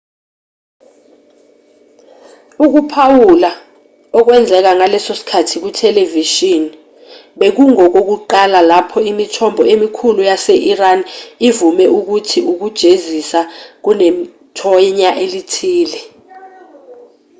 ukuphawula okwenzeka ngaleso sikhathi kuthelevishini bekungokokuqala lapho imithombo emikhulu yase-iran ivume ukuthi ukujezisa kunethonya elithile